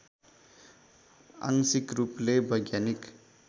आंशिक रूपले वैज्ञानिक